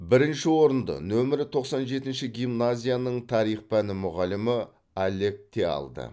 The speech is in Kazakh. бірінші орынды нөмірі тоқсан жетінші гимназияның тарих пәні мұғалімі олег те алды